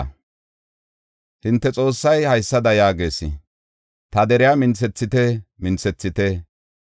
Hinte Xoossay haysada yaagees: “Ta deriya minthethite! Minthethite!